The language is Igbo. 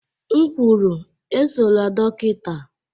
M kwuru, esola dọkịta!